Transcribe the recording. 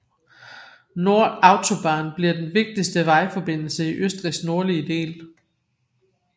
Nord Autobahn bliver den vigtigste vejforbindelse i Østrigs nordlige del